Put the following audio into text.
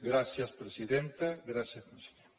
gràcies presidenta gràcies conseller